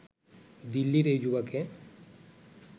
দিল্লির এই যুবাকে